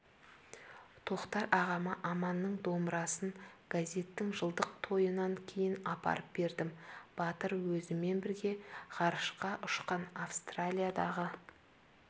тоқтар ағама аманның домбырасын газеттің жылдық тойынан кейін апарып бердім батыр өзімен бірге ғарышқа ұшқан австриядағы